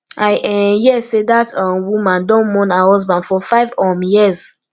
i um hear sey dat um woman don mourn her husband for five um years